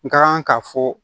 N ka kan ka fɔ